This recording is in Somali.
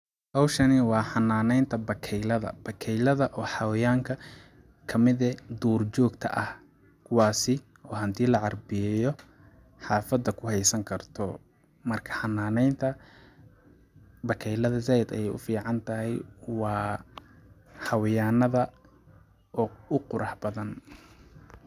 Hawshani waa xananeynta bakeylada, bakeylada waa xwayaanka kamid ah duur jogta kuwaasi oo hadii la carbiyeeyo xafada uheysan karto, marka xananeynta bakeylada zaid ayay uficantahay waa xawayaanada oo u qurux badan